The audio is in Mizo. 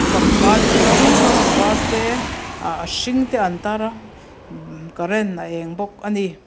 pangpar chi hrang hrang a var te ah a hring te an tar a current a eng bawk ani.